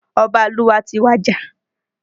Ọba ìlú wa ti wàjà